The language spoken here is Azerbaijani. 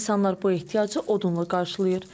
İnsanlar bu ehtiyacı odunla qarşılayır.